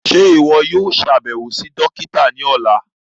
Ṣe iwọ yóò ṣabẹwo si dokita ni ọla?